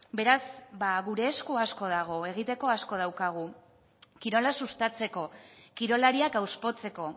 beraz ba gure esku asko dago egiteko asko daukagu kirola sustatzeko kirolariak hauspotzeko